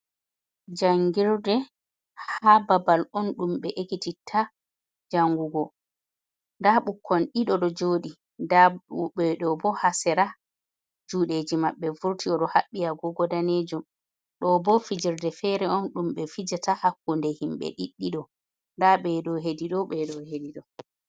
Jangirde ha babal on dumbe ekititta jangugo. Nɗa bukkon ɗiɗo ɗo jodi. Nda beɗobo ha sera judeji mabbe furti. Oɗo habbi agogo ɗanejum. Ɗo bo fijirɗe fere on ɗum be fijata hakkunde himbe ɗiɗɗiɗo. Nɗa be ɗo heɗido beɗo heɗiɗo.